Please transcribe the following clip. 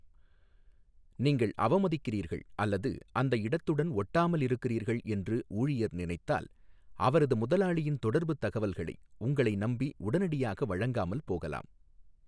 நீங்கள் அவமதிக்கிறீர்கள் அல்லது அந்த இடத்துடன் ஒட்டாமல் இருக்குறீர்கள் என்று ஊழியர் நினைத்தால் அவரது முதலாளியின் தொடர்புத் தகவல்களை உங்களை நம்பி உடனடியாக வழங்காமல் போகலாம்.